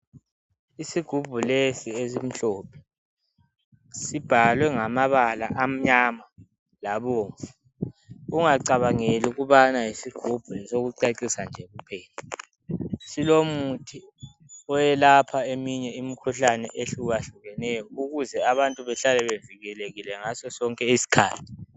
Isigubhu lesi esimhlophe , sibhalwe ngamabala amnyama labomvu, ungacabangeli ukubana yisigubhu sokucecisa njekuphela, silomuthi oyelapha eminye imikhuhlane ehlukahlukeneyo ukuze abantu bahlale bevikelekile ngaso sonke isikhathi.